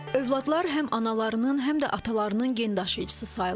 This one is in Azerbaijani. Övladlar həm analarının, həm də atalarının gen daşıyıcısı sayılır.